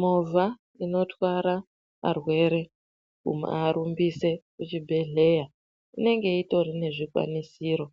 Movha inotwara varwere kuvarumbisa vantu kuchibhedhlera inenge itori nezvikwanisiro